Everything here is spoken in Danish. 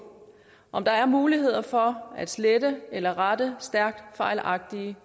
om der er mulighed for at slette eller rette stærkt fejlagtige